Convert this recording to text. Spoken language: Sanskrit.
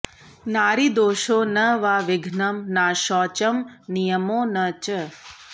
नारिदोषो न वा विघ्नं नाशौचं नियमो न च